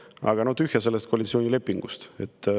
Aga no tühja sellest koalitsioonilepingust.